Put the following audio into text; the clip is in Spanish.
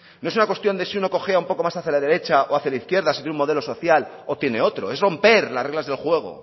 no es una cuestión de si uno cojea un poco más hacia la derecha o hacia la izquierda si tiene un modelo social o tiene otro es romper las reglas del juego